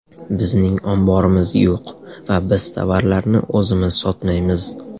Bizning omborimiz yo‘q va biz tovarlarni o‘zimiz sotmaymiz.